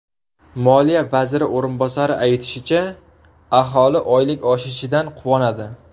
Moliya vaziri o‘rinbosari aytishicha, aholi oylik oshishidan quvonadi.